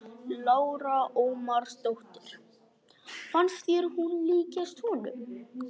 Lára Ómarsdóttir: Fannst þér hún líkjast honum?